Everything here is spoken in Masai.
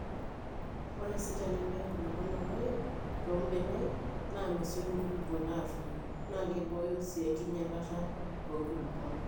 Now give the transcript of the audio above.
Ore sii tenepiki nkulupuok oloip too mbenek naa mesioki nkulupuok aatoyu naa keboyo sii enkinyalata oonkulupuok.